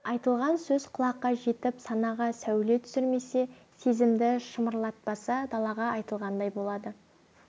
айтылған сөз құлаққа жетіп санаға сәуле түсірмесе сезімді шымырлатпаса далаға айтылғандай болады